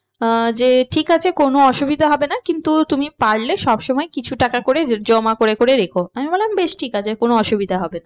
আহ যে ঠিক আছে কোনো অসুবিধা হবে না কিন্তু তুমি পারলে সবসময় কিছু টাকা করে জমা করে করে রেখো। আমি বললাম বেশ ঠিক আছে কোনো অসুবিধা হবে না